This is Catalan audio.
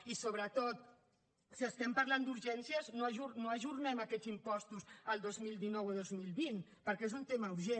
i sobretot si estem parlant d’urgències no ajornem aquests impostos al dos mil dinou o dos mil vint perquè és un tema urgent